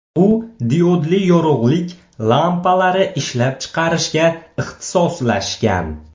U diodli yorug‘lik lampalari ishlab chiqarishga ixtisoslashgan.